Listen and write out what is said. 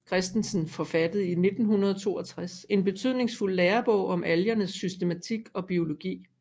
Christensen forfattede i 1962 en betydningsfuld lærebog om algernes systematik og biologi